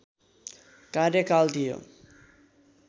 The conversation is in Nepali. कार्यकाल थियो